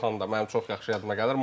Belxanda mənim çox yaxşı yadıma gəlir.